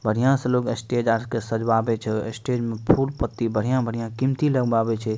बढ़िया से लोग स्टेज आर के सजवावे छै स्टेज में फूल पत्ती बढ़िया-बढ़िया कीमती लगवावे छै।